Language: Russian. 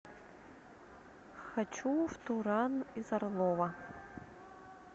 хочу в туран из орлова